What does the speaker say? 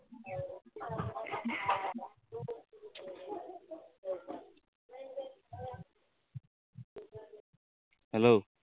Hello